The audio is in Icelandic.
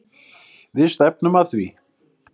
Við stefnum að því.